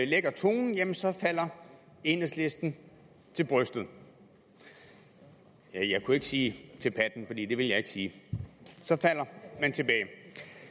lægger tonen jamen så falder enhedslisten til brystet ja jeg kunne ikke sige til patten for det ville jeg ikke sige så falder man tilbage